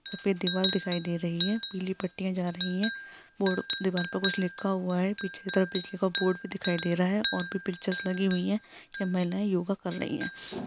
सफ़ेद दिवार दिखाई दे रही है पीली पत्तियां जा रही है दीवार पर कुछ लिखा हुआ है पीछे की तरफ बिजली का बोर्ड भी दिखाई दे रहा है और भी पिक्चर्स लगी हुई है यह महिलाये योगा कर रही हैं।